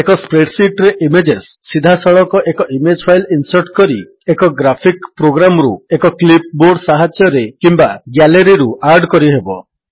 ଏକ spreadsheet ରେ images ସିଧାସଳଖ ଏକ ଇମେଜ୍ ଫାଇଲ୍ ଇନ୍ସର୍ଟ କରି ଏକ ଗ୍ରାଫିକ୍ ପ୍ରୋଗ୍ରାମ୍ ରୁ ଏକ କ୍ଲିପ୍ ବୋର୍ଡ ସାହାଯ୍ୟରେ କିମ୍ୱା ଗ୍ୟାଲେରୀରୁ ଆଡ୍ କରିହେବ